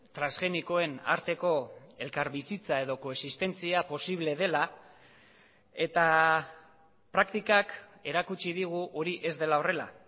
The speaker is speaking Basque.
transgenikoen arteko elkarbizitza edo koexistentzia posible dela eta praktikak erakutsi digu hori ez dela horrela